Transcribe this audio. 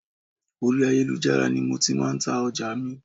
Orí ayélujára ni mo ti máa ń ta ọjà mi